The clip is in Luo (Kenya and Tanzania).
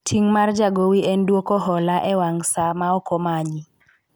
ting' mar jagowi en dwoko hola e wang saa ma ok omanyi